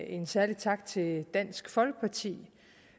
en særlig tak til dansk folkeparti